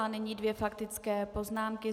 A nyní dvě faktické poznámky.